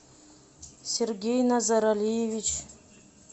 сергей назаралиевич